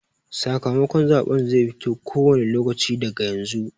Sakamakon zaɓen zai fito ko wane lokaci daga yanzu.